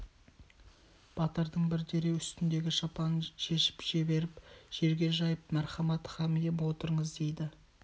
батырдың бір дереу үстіндегі шапанын шешіп жіберіп жерге жайып мәрхамат хан ием отырыңыз дейді